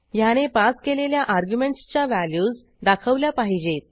ह्याने पास केलेल्या अर्ग्युमेंटसच्या व्हॅल्यूज दाखवल्या पाहिजेत